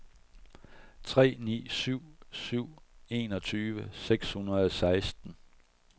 tre ni ni syv enogtyve seks hundrede og seksten